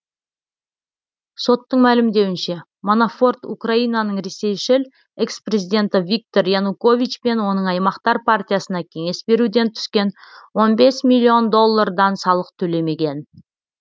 соттың мәлімдеуінше манафорт украинаның ресейшіл экс президенті виктор янукович пен оның аймақтар партиясына кеңес беруден түскен он бес миллион доллардан салық төлемеген